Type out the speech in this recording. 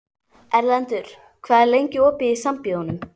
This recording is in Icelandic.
Erlendur, hvað er lengi opið í Sambíóunum?